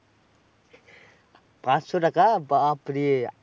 পাঁচশো টাকা? বাপ্ রে।